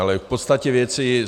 Ale k podstatě věci.